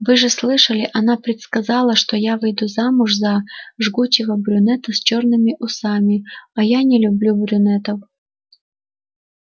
вы же слышали она предсказала что я выйду замуж за жгучего брюнета с чёрными усами а я не люблю брюнетов